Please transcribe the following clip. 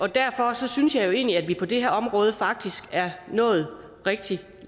derfor synes jeg jo egentlig at vi på det her område faktisk er nået rigtig